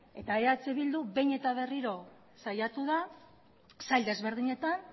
eta eh bildu behin eta berriro saiatu da sail ezberdinetan